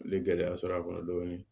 N ye gɛlɛya sɔrɔ a kɔnɔ dɔɔnin